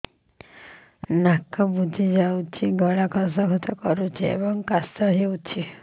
ନାକ ବୁଜି ଯାଉଛି ଗଳା ଖସ ଖସ କରୁଛି ଏବଂ କାଶ ହେଉଛି